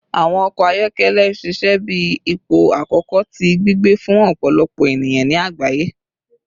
Awọn ọkọ ayọkẹlẹ ṣiṣẹ bi ipo akọkọ ti gbigbe fun ọpọlọpọ eniyan ni agbaye